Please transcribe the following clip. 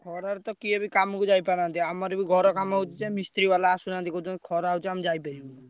ଖରାରେ ତ କିଏ ବି କାମକୁ ଯାଇପାରୁନାହାନ୍ତି। ଆମର ବି ଘର କାମ ହଉଛି ଯେ ମିସ୍ତ୍ରୀବାଲା ଆସୁନାହାନ୍ତି କହୁଛନ୍ତି ଖରା ହଉଛି ଆମେ ଯାଇପାରିବିନୁ।